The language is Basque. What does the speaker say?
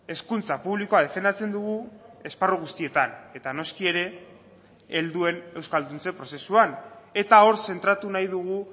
hezkuntza publikoa defendatzen dugu esparru guztietan eta noski ere helduen euskalduntze prozesuan eta hor zentratu nahi dugu